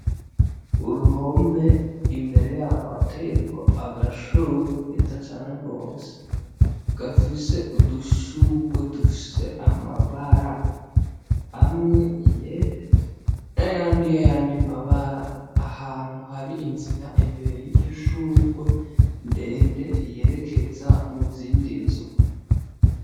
Uruhome imbere yaho hateyeko agashugwe keza cane gose gafise udushugwe dufise amabara amwe yera n'ayandi mabara, ahantu hari inzira imbere yiryo shugwe, ndende yerekeza mu zindi nzu.